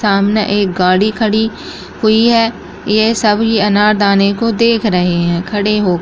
सामने एक गाड़ी खड़ी हुई है ये सभी अनारदाने को देख रहे हैं खड़े हो --